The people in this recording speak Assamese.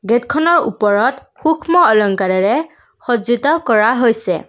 গেটখনৰ ওপৰত সূক্ষ্ম অলংকাৰেৰে সজ্জিত কৰা হৈছে।